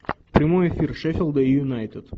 прямой эфир шеффилда и юнайтед